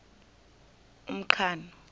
umqhano